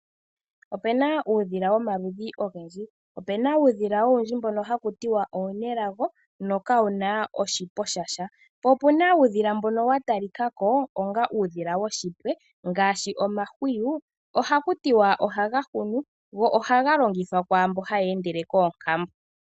Opuna uudhila womaludhi ogendji. Opuna uudhila owundji mbono hawu ithanwa oonelago, nokawuna oshipwe shasha. Po opuna uudhila mbono wa talikako onga uudhila woshipwe, ngaashi omahwiyu, ohaku tiwa ohaga hunu, go ohaga longithwa kwaamboka haa endele koonkambo.